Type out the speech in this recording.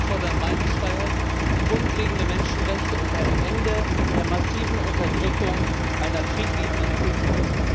Wir fordern Meinungsfreiheit, grundlegende Menschenrechte und ein Ende der massiven Unterdrückung einer friedliebenden Kultur!